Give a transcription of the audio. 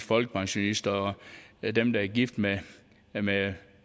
folkepensionister og dem der er gift med med